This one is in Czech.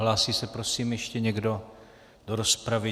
Hlásí se prosím ještě někdo do rozpravy?